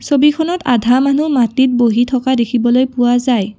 ছবিখনত আধা মানুহ মাটিত বহি থকা দেখিবলৈ পোৱা যায়।